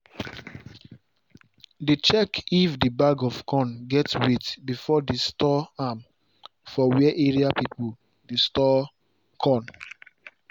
dey check if the bag of corn get weight before they store am for where area people dey store corn